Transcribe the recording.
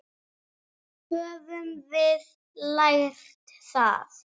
Höfum við lært það?